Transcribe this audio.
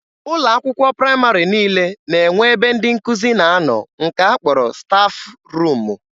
Ụlọ akwụkwọ praịmarị niile na-enwe ebe ndị nkụzi na-anọ nke a kpọrọ 'stafụ ruumu'